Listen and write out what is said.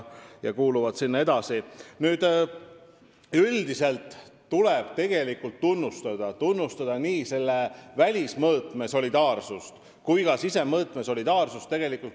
Nad kuuluvadki sinna edasi ning üldiselt tuleb tunnustada nii selle välismõõtme kui ka sisemõõtme solidaarsust.